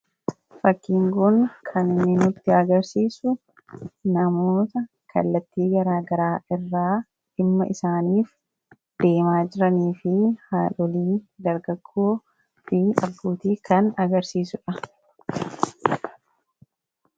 Fakkiin kun kan inni nutti agarsiisu namoota kallattii garaagaraa irraa dhimma isaanii deemaa jiranii fi haadholii, dargaggoo, abbootii kan agarsiisudha.